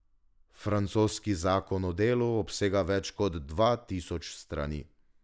Francoski zakon o delu obsega več kot dva tisoč strani.